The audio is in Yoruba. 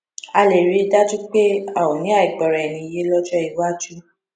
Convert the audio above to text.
ká lè rí i dájú pé a ò ní àìgbọraẹniyé lójó iwájú